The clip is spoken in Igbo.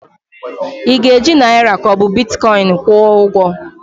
Ị ga-eji naịra ka ọ bụ Bitkọin kwụọ ụgwọ?